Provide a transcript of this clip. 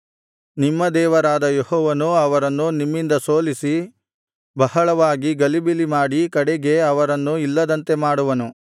ನಿಮ್ಮ ದೇವರಾದ ಯೆಹೋವನು ಅವರನ್ನು ನಿಮ್ಮಿಂದ ಸೋಲಿಸಿ ಬಹಳವಾಗಿ ಗಲಿಬಿಲಿಮಾಡಿ ಕಡೆಗೆ ಅವರನ್ನು ಇಲ್ಲದಂತೆ ಮಾಡುವನು